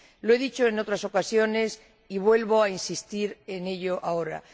Lo he dicho en otras ocasiones y vuelvo a insistir en ello ahora.